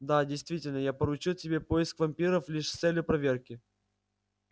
да действительно я поручил тебе поиск вампиров лишь с целью проверки